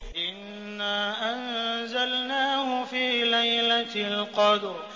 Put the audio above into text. إِنَّا أَنزَلْنَاهُ فِي لَيْلَةِ الْقَدْرِ